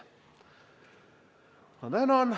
Tänan!